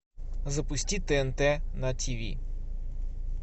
запусти тнт на тиви